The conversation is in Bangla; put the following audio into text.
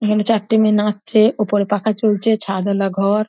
এখানে চারটে মেয়ে নাচছে উপরে পাখা চলছে ছাদওয়ালা ঘর।